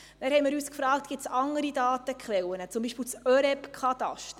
Wir haben uns gefragt, ob es nicht auch andere Datenquellen gäbe, zum Beispiel das ÖREB-Kataster.